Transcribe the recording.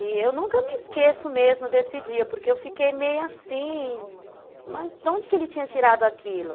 E eu nunca me esqueço mesmo desse dia, porque eu fiquei meio assim, mas de onde que ele tinha tirado aquilo?